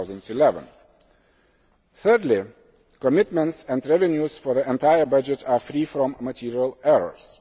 in 2011. Thirdly, commitments and revenues for the entire budget are free from material errors.